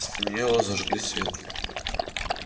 стемнело зажгли свет